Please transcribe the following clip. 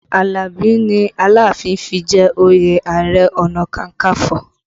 Alabi ni Aláàfin fi jẹ òye Ààrẹ ọ̀nà kakanfo